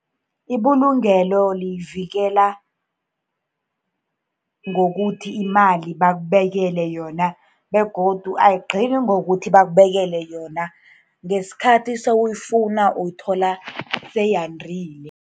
Ibulungelo liyivikela ngokuthi imali bakubekele yona, begodu ayigcini ngokuthi bakubekele yona. Ngesikhathi sewuyifuna, uyithola seyandile.